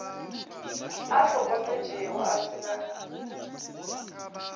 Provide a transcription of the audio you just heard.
a hlokofetšego a se na